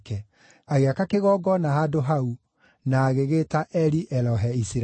Agĩaka kĩgongona handũ hau, na agĩgĩĩta Eli-Elohe-Isiraeli.